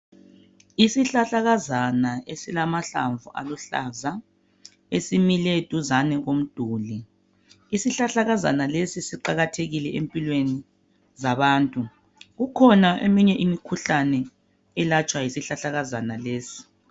Isihlahlakazana esilamahlamvu aluhlaza esimile duzane lomduli. Isihlahlakazana lesi siqakathekile empilweni zabantu. Kukhona eminye imikhuhlane elatshwa yisihlahlakazana lesi.